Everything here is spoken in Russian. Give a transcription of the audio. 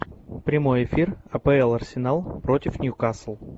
прямой эфир апл арсенал против ньюкасл